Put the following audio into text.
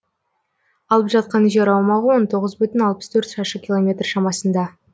алып жатқан жер аумағы он тоғыз бүтін алпыс төрт шаршы километр шамасында